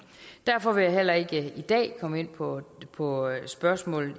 derfor vil jeg heller ikke i dag komme ind på på spørgsmålet